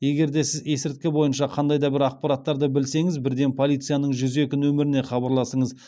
егер де сіз есірткі бойынша қандай да бір ақпараттарды білсеңіз бірден полицияның жүз екі нөміріне хабарласыңыз